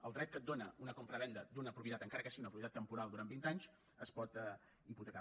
el dret que et dóna una compravenda d’una propietat encara que sigui una propietat temporal durant vint anys es pot hipotecar